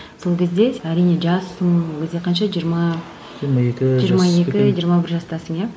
сол кезде сен әрине жассың ол кезде қанша жиырма жиырма екі жиырма бір жастасың иә